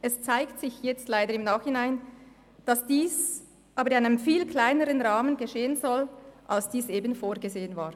Es zeigt sich jetzt leider im Nachhinein, dass dies in einem viel kleineren Rahmen geschehen soll, als es vorgesehen war.